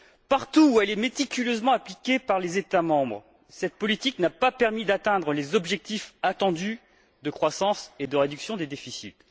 Partout où elle est méticuleusement appliquée par les États membres, cette politique n'a pas permis d'atteindre les objectifs attendus de croissance et de réduction des déficits.